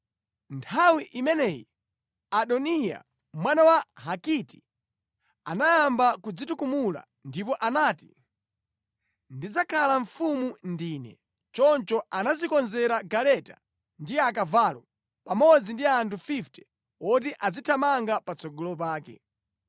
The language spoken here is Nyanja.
Nthawi imeneyi Adoniya, mwana wa Hagiti, anayamba kudzitukumula ndipo anati, “Ndidzakhala mfumu ndine.” Choncho anadzikonzera galeta ndi akavalo, pamodzi ndi anthu 50 woti azithamanga patsogolo pake.